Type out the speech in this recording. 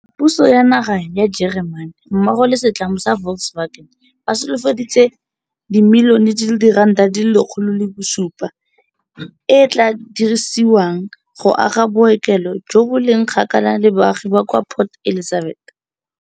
Puso ya naga ya Jeremane mmogo le setlamo sa Volkswagen ba solofeditse R107 milione e e tla dirisediwang go aga bookelo jo bo leng kgakala le baagi kwa Port Elizabeth.